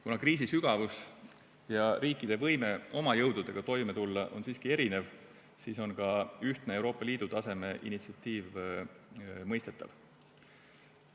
Kuna kriisi sügavus ja riikide võime oma jõududega toime tulla on siiski erinev, siis on ka ühtne Euroopa Liidu taseme initsiatiiv mõistetav.